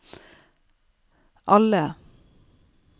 alle